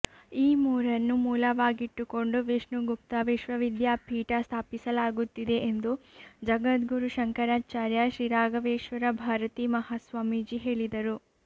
ಈ ಮೂರನ್ನು ಮೂಲವಾಗಿಟ್ಟುಕೊಂಡು ವಿಷ್ಣುಗುಪ್ತ ವಿಶ್ವವಿದ್ಯಾಪೀಠ ಸ್ಥಾಪಿಸಲಾಗುತ್ತಿದೆ ಎಂದು ಜಗದ್ಗುರು ಶಂಕರಾಚಾರ್ಯ ಶ್ರೀರಾಘವೇಶ್ವರ ಭಾರತೀ ಮಹಾಸ್ವಾಮೀಜಿ ಹೇಳಿದರು